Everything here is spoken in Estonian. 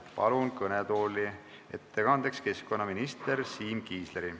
Palun kõnetooli ettekandjaks keskkonnaminister Siim Kiisleri.